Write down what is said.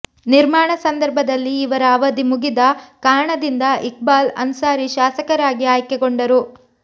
ನಿರ್ಮಾಣ ಸಂದರ್ಭದಲ್ಲಿ ಇವರ ಅವಧಿ ಮುಗಿದ ಕಾರಣದಿಂದ ಇಕ್ಬಾಲ್ ಅನ್ಸಾರಿ ಶಾಸಕರಾಗಿ ಆಯ್ಕೆಗೊಂಡರು